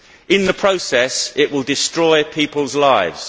In the process, it will destroy people's lives.